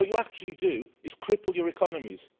What you actually do is cripple your economies.